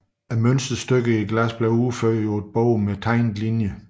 Glassets mønsterstykker udførtes på et bord med tegnede linjer